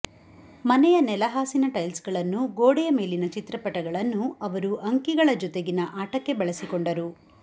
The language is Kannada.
ಮನೆಯ ನೆಲಹಾಸಿನ ಟೈಲ್ಸ್ಗಳನ್ನೂ ಗೋಡೆಯ ಮೇಲಿನ ಚಿತ್ರಪಟಗಳನ್ನೂ ಅವರು ಅಂಕಿಗಳ ಜತೆಗಿನ ಆಟಕ್ಕೆ ಬಳಸಿಕೊಂಡರು